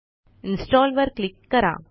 इन्स्टॉलवर click करा